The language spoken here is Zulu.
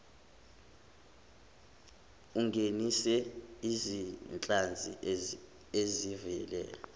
ungenise izinhlanzi ezivela